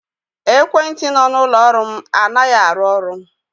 Ekwentị nọ n'ụlọ ọrụ m anaghị arụ ọrụ.